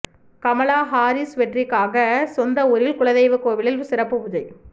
Kamala Harris வெற்றிக்காக சொந்த ஊரில் குலதெய்வ கோவிலில் சிறப்பு பூஜை